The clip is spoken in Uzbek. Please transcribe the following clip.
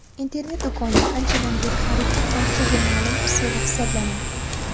Internet-do‘konlar anchadan beri xaridning barchaga ma’lum usuli hisoblanadi.